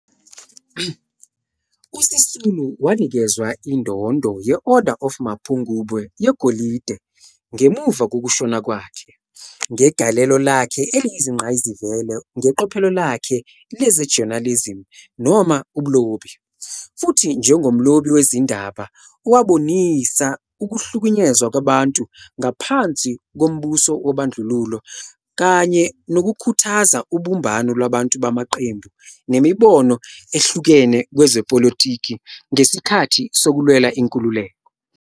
USisulu wanikezwa indondo ye-Order of Mapungubwe - yegolide, ngemuva kokushona kwakhe "ngegalelo lakhe eliyingqayizivele ngeqophelo lakhe leze-journalism noma ubulobi, futhi njengomlobi wezindaba owabonisa ukuhlukunyezwa kwabantu ngaphansi kombuso wobandlululo kanye nokukhuthaza ubumbano lwabantu bamaqembu nemibono ehlukene kwezepolitiki ngesikhathi sokulwela inkululeko."